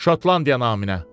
Şotlandiya naminə.